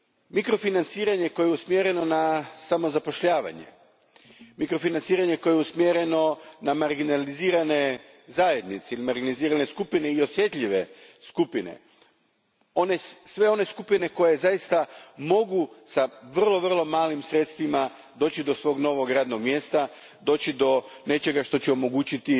Mikrofinanciranje koje je usmjereno na samozapošljavanje, mikrofinanciranje koje je usmjereno na marginalizirane zajednice ili marginalizirane skupine i osjetljive skupine, sve one skupine koje zaista mogu s vrlo malim sredstvima doći do svog novog radnog mjesta, doći do nečega što će omogućiti